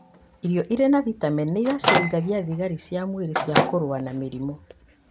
Irio irĩ na vitemeni nĩigacĩrithagia thigari cia mwĩrĩ cia kũrũa na mĩrimũ